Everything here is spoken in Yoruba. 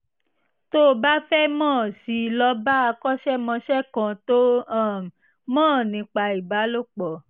tó o bá fẹ́ mọ̀ sí i lọ bá akọ́ṣẹ́mọṣẹ́ kan tó um mọ̀ nípa ìbálòpọ̀